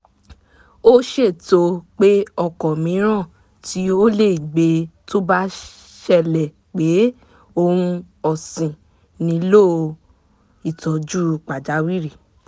ó ṣètò pé ọkọ̀ míràn tí ó lè gbe tó bá ṣẹlẹ̀ pé ohun ọ̀sìn nílò ìtọ́jú pàjáwìrì